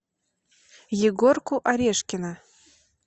егорку орешкина